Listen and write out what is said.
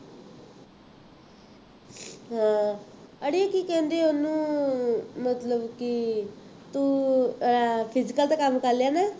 ਹਾਂ ਅੜੀਏ ਕੀ ਕਹਿੰਦੇ ਉਹਨੂੰ ਮਤਲਬ ਕਿ ਤੂੰ ਅਹ physical ਦਾ ਕੰਮ ਕਰ ਲਿਆ ਨਾ